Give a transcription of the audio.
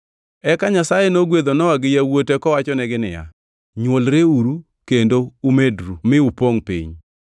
Eka Nyasaye nogwedho Nowa gi yawuote kowachonegi niya, “Nywolreuru kendo umedru mi upongʼ piny.